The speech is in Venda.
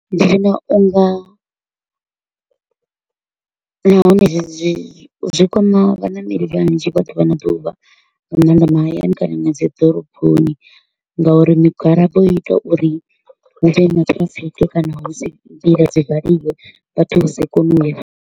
Ndi vhona u nga nahone zwi zwi zwi kwama vhaṋameli vhanzhi vha ḓuvha na ḓuvha nga maanḓa mahayani kana na dzi ḓoroboni nga uri migwalabo i ita uri hu vhe na traffic kana hu si nḓila dzi valiwe vhathu vha si kone u ya.